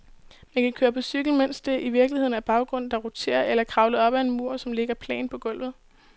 Man kan køre på cykel, mens det i virkeligheden er baggrunden, der roterer, eller kravle op ad en mur, som ligger plant på gulvet.